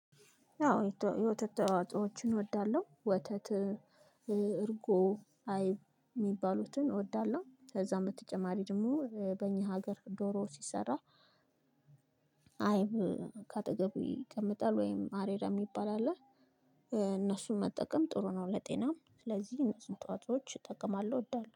ያው የወተት ተዋጽኦችን እወዳለሁ ወተት እርጎ አይብ የሚባሉትን እወዳለሁ። ከዛ በተጨማሪ ደግሞ በእኛ ሀገር ዶሮ ሲሰራ አይብ ከአጠገቡ ይቀመጣል ወይም አሬራ የሚባል አለ እነሱን መጠቀም ጥሩ ነው። ለጤናም ስለዚህ እነሱን ተዋጽኦች እጠቅማለሁ እወዳለሁ